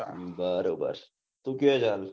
બરોબર તું ક્યાં છે હાલ